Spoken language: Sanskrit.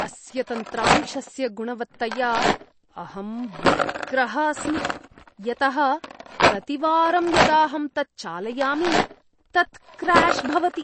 अस्य तन्त्रांशस्य गुणवत्तया अहं व्यग्रः अस्मि यतः प्रतिवारं यदाहं तत् चालयामि तत् क्र्याश् भवति।